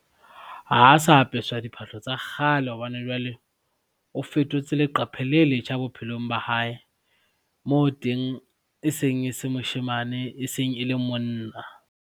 Ha sa apeswa diphahlo tsa kgale hobane jwale o fetotse leqephe le letjha bophelong ba hae, moo teng e seng e se moshemane, e seng e le monna.